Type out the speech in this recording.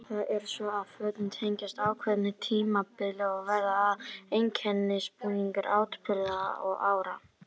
Það er svo að fötin tengjast ákveðnu tímabili og verða að einkennisbúningum atburða og ára.